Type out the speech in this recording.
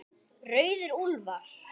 Rauðir úlfar